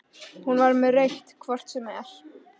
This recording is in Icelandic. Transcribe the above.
Hún var með rautt hvort sem er.